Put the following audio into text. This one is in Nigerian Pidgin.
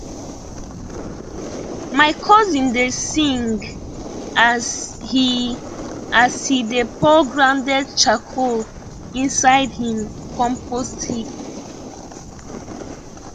my cousin dey sing as he as he dey pour grounded charcoal inside him compost heap